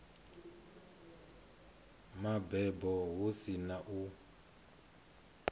mabebo hu si na u